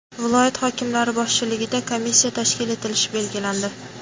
viloyat hokimlari boshchiligida komissiya tashkil etilishi belgilandi.